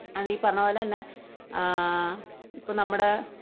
അതീ പറഞ്ഞപോലെ തന്നെ ഇപ്പോൾ നമ്മുടെ